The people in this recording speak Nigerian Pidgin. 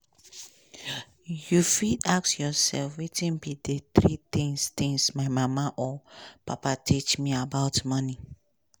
you fit ask yourself wetin be di three tins tins my mother or father teach me about money.